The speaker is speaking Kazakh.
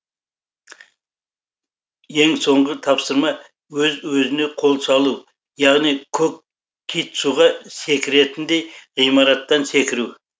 ең соңғы тапсырма өз өзіне қол салу яғни көк кит суға секіретіндей ғимараттан секіру